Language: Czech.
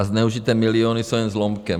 A zneužité miliony jsou jen zlomkem.